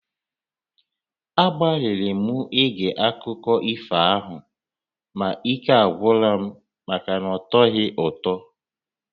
Agbalịrị m ige akụkọ ifo ahụ ma ike agwụla m maka na ọtọghị ụtọ